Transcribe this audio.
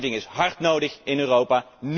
Deze wetgeving is hard nodig in Europa.